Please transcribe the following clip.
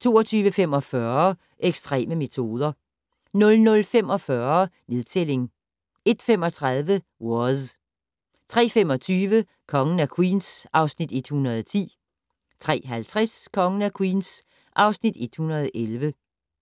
22:45: Ekstreme metoder 00:45: Nedtælling 01:35: Waz 03:25: Kongen af Queens (Afs. 110) 03:50: Kongen af Queens (Afs. 111)